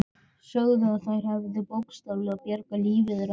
Sögðu að þær hefðu bókstaflega bjargað lífi þeirra.